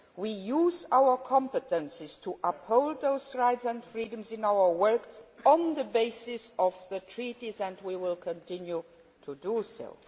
We are using our competences to uphold those rights and freedoms in our work, on the basis of the Treaties, and will continue to do